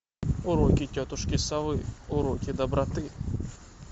уроки тетушки совы уроки доброты